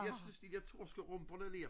Jeg synes de der torskerumper der ler